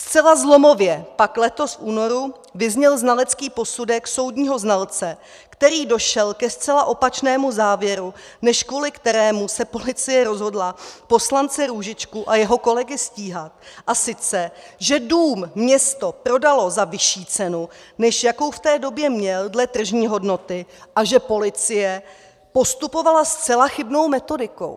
Zcela zlomově pak letos v únoru vyzněl znalecký posudek soudního znalce, který došel ke zcela opačnému závěru, než kvůli kterému se policie rozhodla poslance Růžičku a jeho kolegy stíhat, a sice že dům město prodalo za vyšší cenu, než jakou v té době měl dle tržní hodnoty, a že policie postupovala zcela chybnou metodikou.